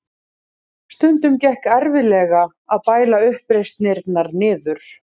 Stundum gekk erfiðlega að bæla uppreisnirnar niður.